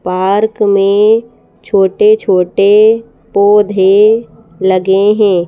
Park में छोटे-छोटे पौधे लगे हैं।